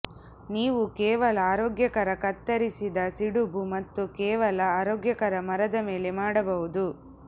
ನೀವು ಕೇವಲ ಆರೋಗ್ಯಕರ ಕತ್ತರಿಸಿದ ಸಿಡುಬು ಮತ್ತು ಕೇವಲ ಆರೋಗ್ಯಕರ ಮರದ ಮೇಲೆ ಮಾಡಬಹುದು